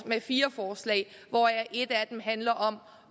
med fire forslag hvoraf et handler om